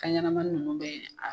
Kan ɲɛnamani nunnu bɛ a